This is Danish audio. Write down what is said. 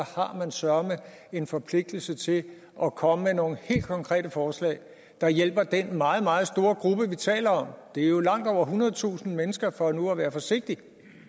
har man søreme en forpligtelse til at komme med nogle helt konkrete forslag der hjælper den meget meget store gruppe vi taler om det er jo langt over ethundredetusind mennesker for nu at være forsigtig